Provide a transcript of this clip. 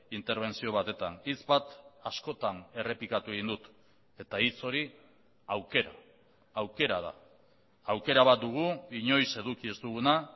interbentzio batetan hitz bat askotan errepikatu egin dut eta hitz hori aukera aukera da aukera bat dugu inoiz eduki ez duguna